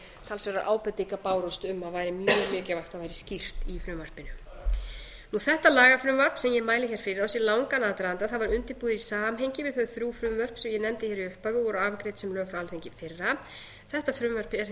talsverðar ábendingar bárust um að væri mjög mikilvægt að væri skýrt í frumvarpi þetta lagafrumvarp sem ég mæli hér fyrir á sér langan aðdraganda það var undirbúið í samhengi við þau þrjú frumvörp sem ég nefndi hér í upphafi og voru afgreidd sem lög frá alþingi í fyrra þetta frumvarp er